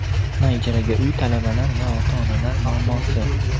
na ijaraga uy - talabalar va ota-onalar muammosi.